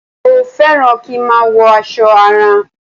Mo fẹ́ràn kí n má a wọ aṣọ àrán